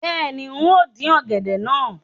Bẹ́ẹ̀ni, n óò dín ọ̀gẹ̀dẹ̀ náà